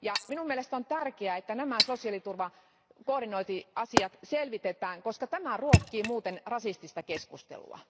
Minun mielestäni on tärkeää, että nämä sosiaaliturvakoordinointiasiat selvitetään, koska tämä ruokkii muuten rasistista keskustelua.